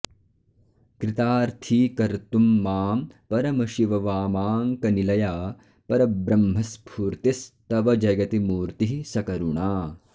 कृतार्थीकर्तुं मां परमशिव वामाङ्कनिलया परब्रह्मस्फूर्तिस्तव जयति मूर्तिः सकरुणा